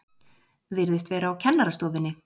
Virðist vera á kennarastofunni.